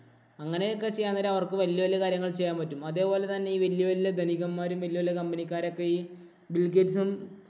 അങ്ങനെയൊക്കെ ചെയ്യാന്‍ നേരം അവര്‍ക്ക് വല്യ വല്യ കാര്യങ്ങള്‍ ചെയ്യാന്‍ പറ്റും. അതെപോലെതന്നെ ഈ വലിയ വലിയ ധനികന്മാരും വലിയ വലിയ company ക്കാരൊക്കെ ഈ ബിൽ ഗേറ്റ്സും